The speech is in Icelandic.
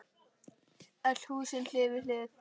Öll húsin hlið við hlið.